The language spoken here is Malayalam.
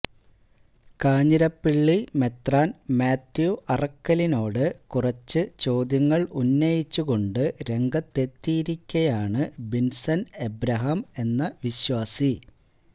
കാഞ്ഞിരപ്പള്ളി മെത്രാൻ മാത്യു അറക്കലിനോട് കുറച്ച് ചോദ്യങ്ങൾ ഉന്നയിച്ചു കൊണ്ട് രംഗത്തെത്തിയിരിക്കയാണ് ബിൻസൺ എബ്രഹാം എന്ന വിശ്വാസി